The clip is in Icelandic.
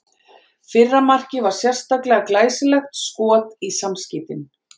Fyrra markið var sérlega glæsilegt skot í samskeytin.